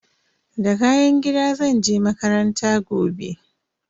Da kayan gida zan je makaranta gobe.